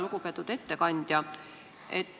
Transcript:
Lugupeetud ettekandja!